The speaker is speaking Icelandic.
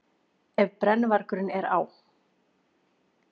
Ef brennuvargurinn er á